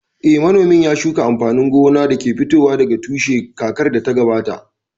Eh, manomin ya shuka amfanin gona da ke fitowa daga tushe kakar da ta gabata